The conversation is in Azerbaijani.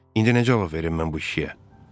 İndi nə cavab verim mən bu kişiyə?